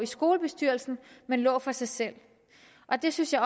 skolebestyrelsen men lå for sig selv det synes jeg